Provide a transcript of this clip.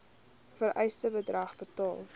vereiste bedrag betaal